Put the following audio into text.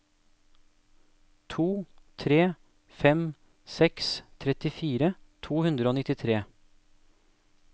to tre fem seks trettifire to hundre og nittitre